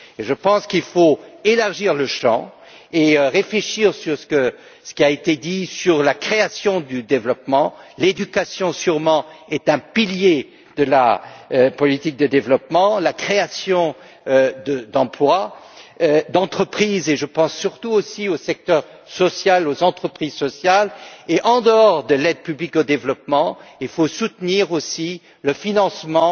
Je pense qu'il faut élargir le champ et réfléchir à ce qui a été dit sur la création du développement. L'éducation est, bien sûr, un pilier de la politique du développement, mais aussi la création d'emplois et d'entreprises et je pense surtout aussi au secteur social, aux entreprises sociales. En dehors de l'aide publique au développement, il faut aussi soutenir aussi le financement